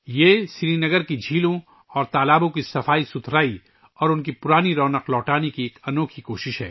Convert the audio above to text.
سری نگر کی جھیلوں اور تالابوں کو صاف کرنے اور انہیں ان کی پرانی شان میں بحال کرنے کی یہ ایک انوکھی کوشش ہے